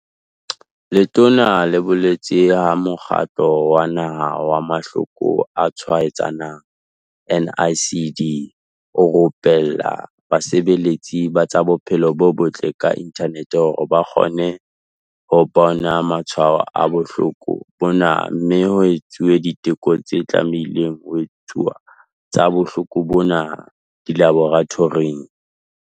Letona le boletse ha Mokgatlo wa Naha wa Mahloko a Tshwaetsanang NICD o rupella basebeletsi ba tsa bophelo bo botle ka inthanete hore ba kgone ho bona matshwao a bohloko bona mme ho etsuwe diteko tse tlamehileng ho etsuwa tsa bohloko bona dilaboratoring.